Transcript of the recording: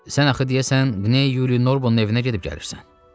Sən axı deyəsən Qney Yuli Norbonun evinə gedib gəlirsən.